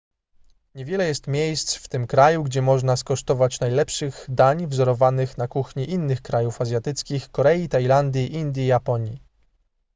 niewiele jest miejsc w tym kraju gdzie można skosztować najlepszych dań wzorowanych na kuchni innych krajów azjatyckich korei tajlandii indii i japonii